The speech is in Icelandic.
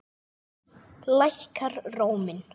Lækkar róminn.